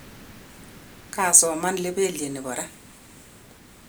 kaasoman lebelye nebo ra